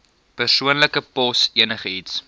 persoonlike pos enigiets